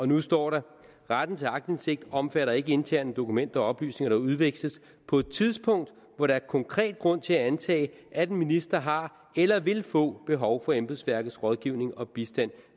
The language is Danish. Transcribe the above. nu står der retten til aktindsigt omfatter ikke interne dokumenter og oplysninger der udveksles på et tidspunkt hvor der er konkret grund til at antage at en minister har eller vil få behov for embedsværkets rådgivning og bistand